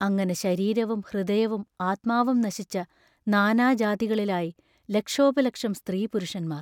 അങ്ങനെ ശരീരവും ഹൃദയവും ആത്മാവും നശിച്ച നാനാജാതികളിലായി ലക്ഷോപലക്ഷം സ്ത്രീപുരുഷന്മാർ.